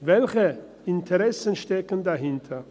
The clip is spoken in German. Welche Interessen stecken dahinter?